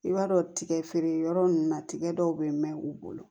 I b'a dɔn tigɛfeereyɔrɔ ninnu na tigɛ dɔw bɛ mɛn u bolo